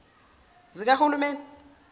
zikahulumeni